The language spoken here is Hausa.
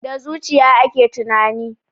Da zuciya ake tunani.